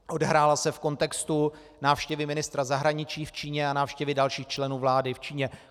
Odehrála se v kontextu návštěvy ministra zahraničí v Číně a návštěvy dalších členů vlády v Číně.